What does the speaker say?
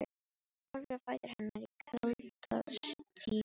Horfir á fætur hennar í kuldastígvélum.